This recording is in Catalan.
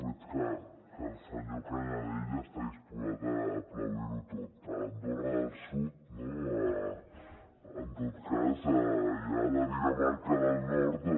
veig que el senyor canadell està disposat a aplaudir ho tot a l’andorra del sud no en tot cas i a la dinamarca del nord o a